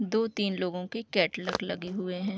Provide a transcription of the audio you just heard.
दो तीन लोगो के कैटलॉग लगे हुए है।